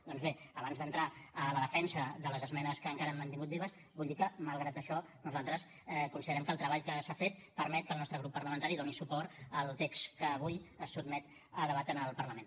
doncs bé abans d’entrar a la defensa de les esmenes que encara hem mantingut vives vull dir que malgrat això nosaltres considerem que el treball que s’ha fet permet que el nostre grup parlamentari doni suport al text que avui es sotmet a debat en el parlament